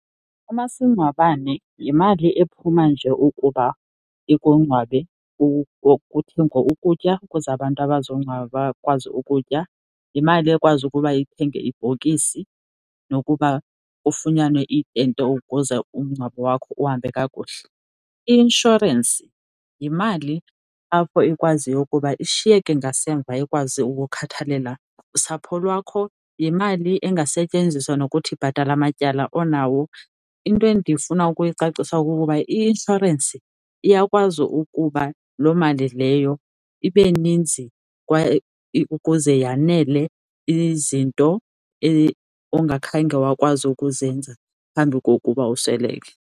Umasingcwabane yimali ephuma nje ukuba ikungcwabe kuthengwe ukutya ukuze abantu abazongcwaba bakwazi ukutya. Yimali ekwazi ukuba ithenge ibhokisi nokuba kufunyanwe itente ukuze umngcwabo wakho uhambe kakuhle. i-inshorensi yimali apho ikwaziyo ukuba ishiyeke ngasemva ikwazi ukukhathalela usapho lwakho, yimali engasetyenziswa nokuthi ibhatale amatyala onawo. Into endifuna ukuyicacisa kukuba i-inshorensi iyakwazi ukuba loo mali leyo ibe ninzi kwaye ukuze yanele izinto ongakhange wakwazi ukuzenza phambi kokuba usweleke.